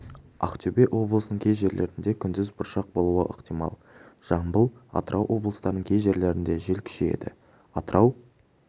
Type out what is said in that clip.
ақмола облысының кей желерінде күндіз бұршақ болуы ықтимал жамбыл атырау облыстарының кей жерлерінде жел күшейеді атырау